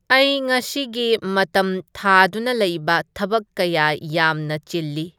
ꯑꯩ ꯉꯥꯁꯤꯒꯤ ꯃꯇꯝ ꯊꯥꯗꯨꯅ ꯂꯩꯕ ꯊꯕꯛ ꯀꯌꯥ ꯌꯝꯅ ꯆꯤꯜꯂꯤ